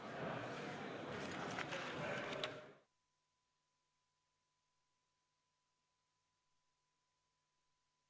Istungi lõpp kell 14.09.